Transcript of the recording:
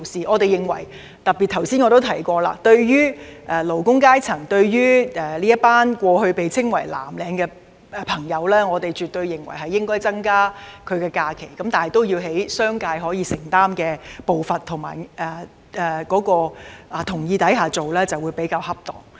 我們認為，特別是我剛才亦有提及，對於過去被稱為藍領的勞工階層，絕對應該增加他們的假期，但按商界可以承擔的步伐及在其同意下進行會較為恰當。